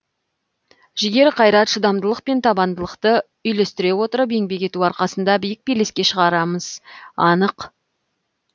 жігер қайрат шыдамдылық пен табандылықты үйлестіре отырып еңбек ету арқасында биік белеске шығарымыз анық